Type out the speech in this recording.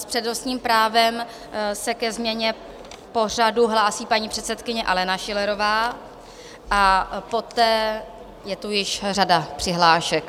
S přednostním právem se ke změně pořadu hlásí paní předsedkyně Alena Schillerová a poté je tu již řada přihlášek.